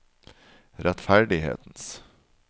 rettferdighetens